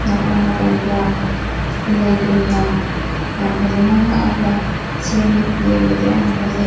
ꯅꯥꯀꯟꯗ ꯅꯥꯀꯟꯗꯥ ꯂꯩꯒꯨꯝꯅ ꯌꯥꯝ ꯐꯖꯅ ꯍꯛꯑꯒ ꯁꯦꯝꯃꯤ ꯌꯦꯡꯕꯗ ꯌꯥꯝ ꯐꯖꯩ꯫